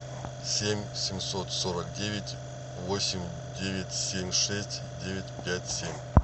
семь семьсот сорок девять восемь девять семь шесть девять пять семь